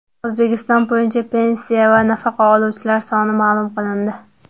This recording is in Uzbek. O‘zbekiston bo‘yicha pensiya va nafaqa oluvchilar soni ma’lum qilindi.